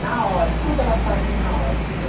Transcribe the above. Na hora, tudo elas faziam na hora, entendeu?